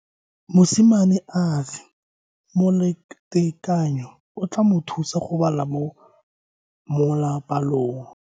Mosimane a re molatekanyo o tla mo thusa go bala mo molapalong.